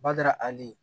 Bada ali